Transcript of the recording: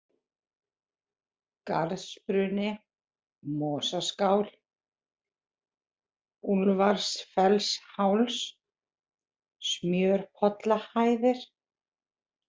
Garðsbruni, Mosaskál, Úlfarsfellsháls, Smjörpollahæðir